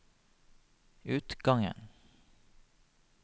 utgangen